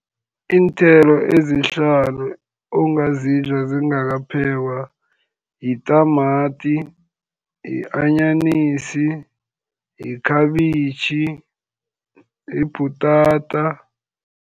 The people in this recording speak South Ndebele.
Iinthelo ezihlanu ongazidla zingakaphekwa yitamati, yi-anyanisi, yikhabitjhi, yibhutata.